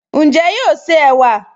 Ǹjẹ́ yóò se ẹ̀wà?